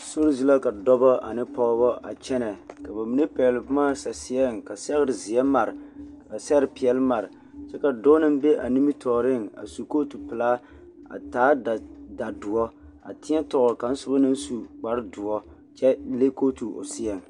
Sori zu la ka dɔbɔ ane pɔɡebɔ a kyɛnɛ ka ba mine pɛɡele boma saseɛŋ ka sɛɡerezeɛ mare ka sɛɡere peɛle mare kyɛ ka dɔɔ naŋ be a nimitɔɔreŋ a su kootopelaa a taa dadoɔ a tēɛtɔɔl kaŋa sobɔ naŋ su kpardoɔ kyɛ le kooto o seɛ.